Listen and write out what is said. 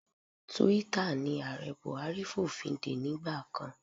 Twitter ni Ààrẹ Buhari fòfindè nígbà kan.